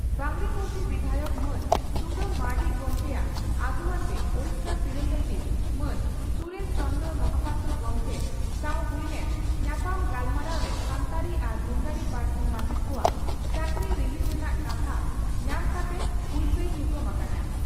ᱵᱟᱸᱜᱽᱨᱤᱯᱳᱥᱤ ᱵᱤᱫᱷᱟᱭᱚᱠ ᱢᱟᱱ ᱥᱩᱫᱟᱢ ᱢᱟᱨᱱᱰᱤ ᱜᱚᱢᱠᱮᱭᱟᱜ ᱟᱹᱜᱩᱣᱟᱹᱱᱛᱮ ᱳᱰᱤᱥᱟ ᱥᱤᱨᱟᱹ ᱥᱚᱪᱤᱵᱽ ᱢᱟᱱ ᱥᱩᱨᱮᱱ ᱪᱚᱱᱫᱽᱨᱚ ᱢᱟᱦᱟᱯᱟᱛᱨᱚ ᱜᱚᱢᱠᱮ ᱥᱟᱣ ᱦᱩᱭ ᱞᱮᱱ ᱧᱟᱯᱟᱢ ᱜᱟᱞᱢᱟᱨᱟᱣᱨᱮ ᱥᱟᱱᱛᱟᱲᱤ ᱟᱨ ᱢᱩᱱᱰᱟᱹᱨᱤ ᱯᱟᱹᱨᱥᱤ ᱢᱟᱪᱮᱛ ᱠᱚᱣᱟᱜ ᱪᱟᱹᱠᱨᱤ ᱨᱤᱦᱤᱴ ᱨᱮᱱᱟᱜ ᱠᱟᱛᱷᱟ ᱧᱟᱢ ᱠᱟᱛᱮ ᱦᱩᱞᱥᱟᱹᱭ ᱛᱷᱩᱠᱟᱹᱢ ᱟᱠᱟᱱᱟ ᱾